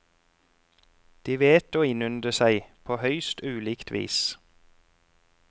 De vet å innynde seg, på høyst ulikt vis.